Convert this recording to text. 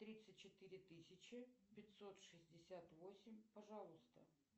тридцать четыре тысячи пятьсот шестьдесят восемь пожалуйста